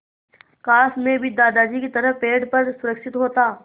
काश मैं भी दादाजी की तरह पेड़ पर सुरक्षित होता